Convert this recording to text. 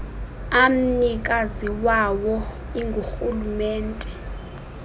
amnikazi wawo ingurhulumente